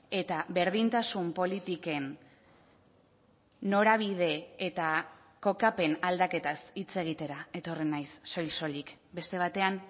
eta berdintasun politiken norabide eta kokapen aldaketaz hitz egitera etorri naiz soil soilik beste batean